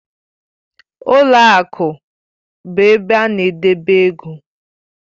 Ụlọ akụ bụ ebe a na-edebe ego